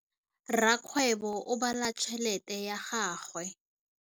Rakgwêbô o bala tšheletê ya gagwe.